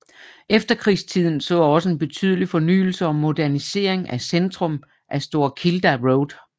Efterkrigstiden så også en betydelig fornyelse og modernisering af centrum og St Kilda Road